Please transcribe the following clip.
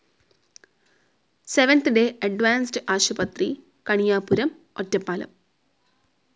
Seventh day advance ആശുപത്രി, കണിയാപുരം, ഒറ്റപ്പാലം.